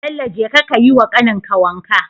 Bello jeka kayi wa kanin ka wanka